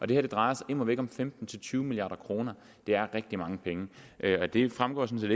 det her drejer sig immer væk om femten til tyve milliard kroner det er rigtig mange penge og det fremgår sådan